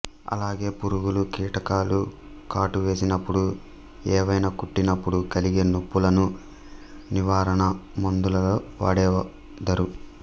అలాగే పురుగుల కీటకాలు కాటువేసినప్పుడు ఎవైన కుట్టినప్పుడు కలిగే నొప్పులను నివారణ మందులలో వాడెదరు